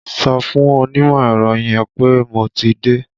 Sọ fún onímọ̀ ẹ̀rọ yẹn pé mo ti dé!